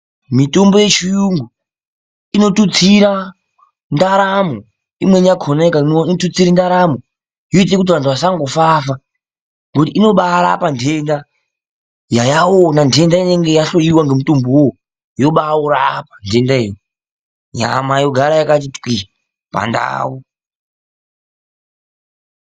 Mitombo yechiyungu inotutsira ndaramo. Imweni yakona ikamwiwa inotutsire ndaramo yoite kuti vantu vasanogafafa ngekuti inobarapa ndenda yayaona ndenda inenge yahloiwa ngemitombo uwowo yobaurapa ndenda iyo. Nyama yoramba yakati twii pandau